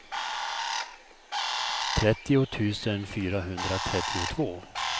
trettio tusen fyrahundratrettiotvå